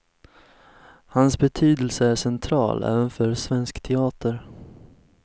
Hans betydelse är central, även för svensk teater.